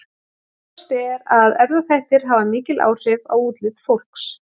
Ljóst er að erfðaþættir hafa mikil áhrif á útlit fólks.